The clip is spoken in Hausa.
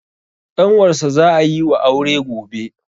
ƙanwarsa za a yi wa aure gobe